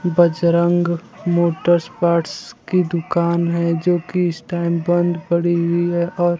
Bajrang motors parts की दुकान है जो की इस टाइम बंद पड़ी हुई है और--